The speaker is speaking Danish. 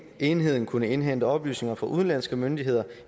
enheden kunne indhente oplysninger fra udenlandske myndigheder